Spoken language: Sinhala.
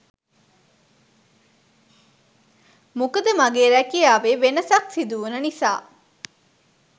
මොකද මගේ රැකියාවේ වෙනසක් සිදුවුන නිසා